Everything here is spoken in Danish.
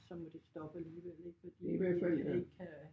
Så må det stoppe alligevel ik fordi det det ikke kan